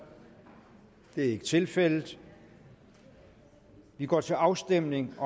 det er ikke tilfældet og vi går til afstemning